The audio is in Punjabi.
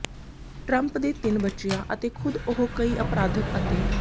ਟ੍ਰੰਪ ਦੇ ਤਿੰਨ ਬੱਚਿਆਂ ਅਤੇ ਖੁਦ ਉਹ ਕਈ ਅਪਰਾਧਿਕ ਅਤੇ